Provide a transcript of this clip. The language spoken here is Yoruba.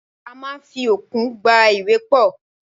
A máa ń fi okùn gbá ìwé pọ̀.